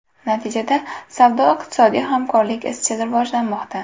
Natijada savdo-iqtisodiy hamkorlik izchil rivojlanmoqda.